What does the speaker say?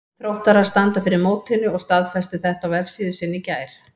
Þróttarar standa fyrir mótinu og staðfestu þetta á vefsíðu sinni í gær.